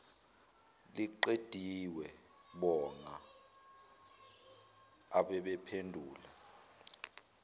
liqediwe bonga ababephendula